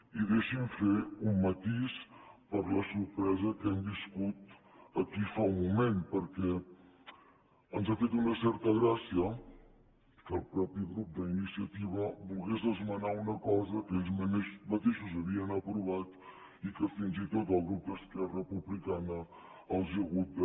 i deixi’m fer un matís per la sorpresa que hem viscut aquí fa un moment perquè ens ha fet una certa gràcia que el mateix grup d’iniciativa volgués esmenar una cosa que ells mateixos havien aprovat i que fins i tot el grup d’esquerra republicana els ha hagut de